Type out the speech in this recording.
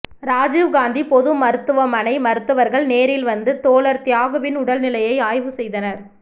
இராஜீவ் காந்தி பொது மருத்துவமனை மருத்துவர்கள் நேரில் வந்து தோழர் தியாகுவின் உடல் நிலையை ஆய்வு செய்தனர்